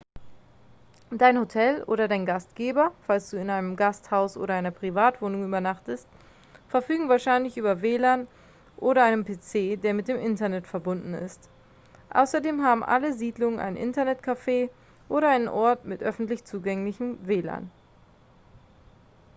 dein hotel oder deine gastgeber falls du in einem gasthaus oder einer privatwohnung übernachtest verfügen wahrscheinlich über wlan oder einen pc der mit dem internet verbunden ist. außerdem haben alle siedlungen ein internet-café oder einen ort mit öffentlich zugänglichem wlan